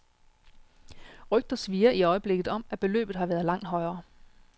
Rygter svirrer i øjeblikket om, at beløbet har været langt højere.